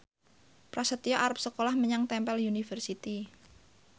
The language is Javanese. Prasetyo arep sekolah menyang Temple University